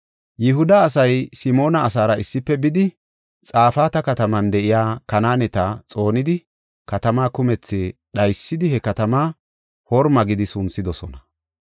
Yihuda asay Simoona asaara issife bidi, Xafaata kataman de7iya Kanaaneta xoonidi katamaa kumethi dhaysidi, he katamaa Horma gidi sunthidosona.